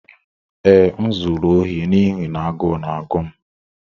Ee, m zuru ohi n'ihi na agụụ na-agụ m.